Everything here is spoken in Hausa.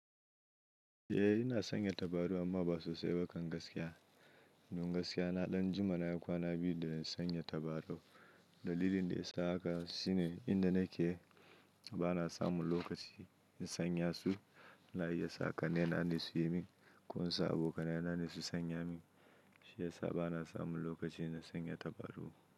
Eh ina sanya tabarau amma ba sosai ba kan gaskiya. Don gaskiya na ɗan jima na yi kwana biyu da na sanya tabaru. Dalilin da ya isa haka shine inda nake. Ba na samun lokaci in sanya su. Ina iya sa ƙanne na ne su yi min ko in sa abokanai na ne su sanya min. Shi ya sa ba na samun lokaci na sanya tabaru.